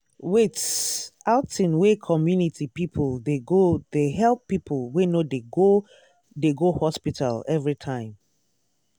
wait- outing wey community people dey go they help people wey no dey go dey go hospital everytime.